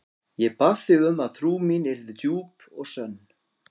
Ég bað þig um að trú mín yrði djúp og sönn.